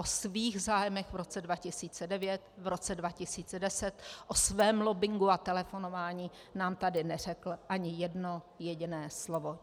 O svých zájmech v roce 2009, v roce 2010, o svém lobbingu a telefonování nám tady neřekl ani jedno jediné slovo.